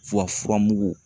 furamugu